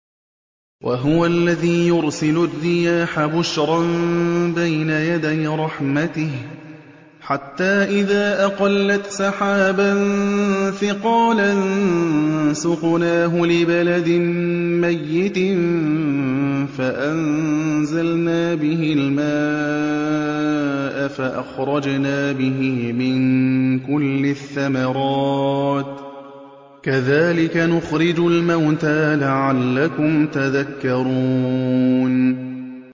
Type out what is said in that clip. وَهُوَ الَّذِي يُرْسِلُ الرِّيَاحَ بُشْرًا بَيْنَ يَدَيْ رَحْمَتِهِ ۖ حَتَّىٰ إِذَا أَقَلَّتْ سَحَابًا ثِقَالًا سُقْنَاهُ لِبَلَدٍ مَّيِّتٍ فَأَنزَلْنَا بِهِ الْمَاءَ فَأَخْرَجْنَا بِهِ مِن كُلِّ الثَّمَرَاتِ ۚ كَذَٰلِكَ نُخْرِجُ الْمَوْتَىٰ لَعَلَّكُمْ تَذَكَّرُونَ